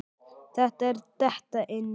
Þetta er að detta inn.